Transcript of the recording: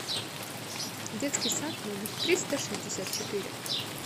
детский сад номер триста шестьдесят четыре